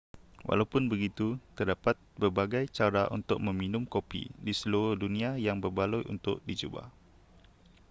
walaupun begitu terdapat berbagai cara untuk meminum kopi di seluruh dunia yang berbaloi untuk dicuba